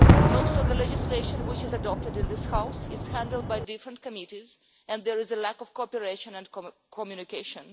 Most of the legislation which is adopted in this House is handled by different committees and there is a lack of cooperation and communication.